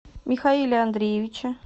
михаиле андреевиче